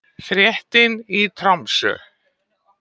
Fréttin í Tromsö